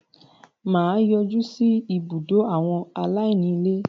mà á yọjú sí “ ibùdó àwọn aláìní ilé ”.